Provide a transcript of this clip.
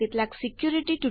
ઠીક છે જોડાવા બદલ આભાર